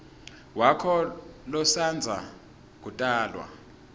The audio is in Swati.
wakho losandza kutalwa